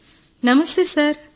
శిరీష నమస్తే సార్